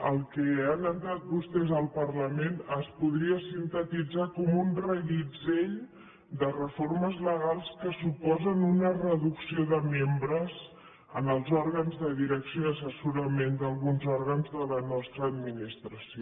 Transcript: el que han entrat vostès al parlament es podria sintetitzar com un reguitzell de reformes legals que suposen una reducció de membres en els òrgans de direcció i assessorament d’alguns òrgans de la nostra administració